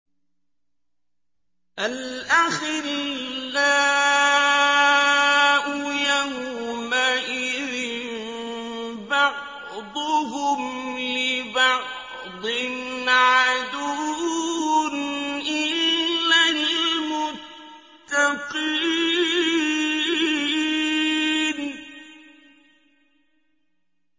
الْأَخِلَّاءُ يَوْمَئِذٍ بَعْضُهُمْ لِبَعْضٍ عَدُوٌّ إِلَّا الْمُتَّقِينَ